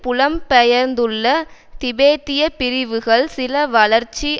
புலம் பெயர்ந்துள்ள திபெத்திய பிரிவுகள் சில வளர்ச்சி